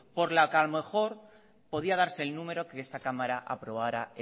por lo que a lo mejor podría darse el número que esta cámara aprobara